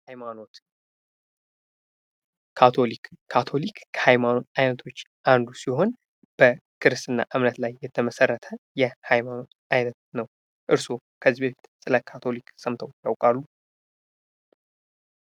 ሐይማኖት ካቶሊክ ካቶሊክ ከሃይማኖት አይነቶች አንዱ ሲሆን በክርስትና እምነት ላይ የተመሰረተ የሀይማኖት አይነት ነው። እርስዎ ከዚህ በፊት ስለ ካቶሊክ ሰምተው ያውቃሉ?